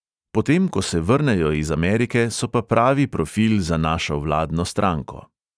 Po tem, ko se vrnejo iz amerike, so pa pravi profil za našo vladno stranko.